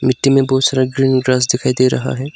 मिट्टी में बहोत सारा ग्रीन ग्रास दिखाई दे रहा है।